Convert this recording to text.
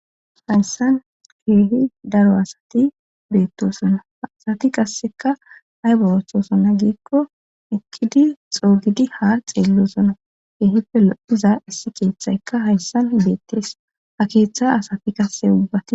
hayssan keehi daro asati beettosonna asati qasseka hay borothosona giikko ekkidi xoogidi ha xeellosona keehippe lodiza issi keeththayka hayssan beettees ha keeththa asati qasse ubbati